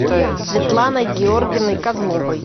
светланой георгиевной козловой